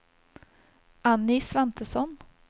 Annie Svantesson